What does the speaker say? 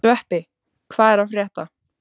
Sveppi, hvað er að frétta?